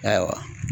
Ayiwa